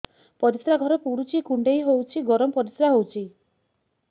ପରିସ୍ରା ଘର ପୁଡୁଚି କୁଣ୍ଡେଇ ହଉଚି ଗରମ ପରିସ୍ରା ହଉଚି